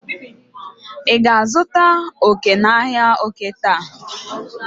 ị ga-azụta oke n'ahịa oke taa?